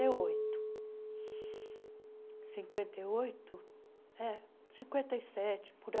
oito cinquenta e oito É, cinquenta e sete, por aí.